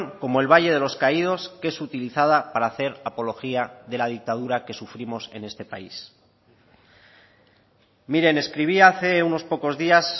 como el valle de los caídos que es utilizada para hacer apología de la dictadura que sufrimos en este país miren escribía hace unos pocos días